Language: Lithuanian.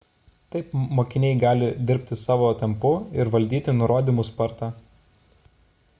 taip mokiniai gali dirbti savo tempu ir valdyti nurodymų spartą